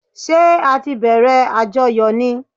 Ṣẹ́ á tí bẹ̀rẹ̀ àjọyọ̀ ni?